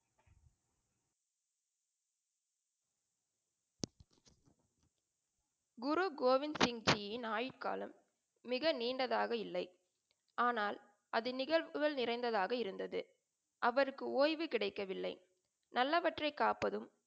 குரு கோவிந்த் சிங்ஜியின் ஆயுட் காலம் மிக நீண்டதாக இல்லை. ஆனால் அது நிகழ்வுகள் நிறைந்ததாக இருந்தது. அவருக்கு ஓய்வு கிடைக்கவில்லை. நல்லவற்றை காப்பதும்,